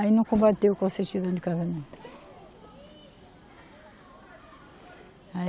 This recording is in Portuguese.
Aí não combateu com a certidão de casamento. Aí